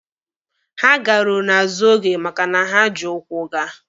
Ha garuru n'azụ oge maka na ha ji ụkwụ gaa